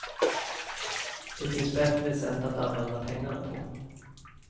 Det finns bättre sätt att använda pengarna på.